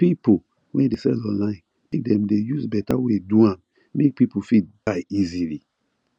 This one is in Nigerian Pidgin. peopple wey dey sell online make dem dey use better wey do am make people fit buy easily